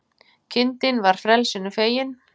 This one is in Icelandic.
Kindin var frelsinu fegin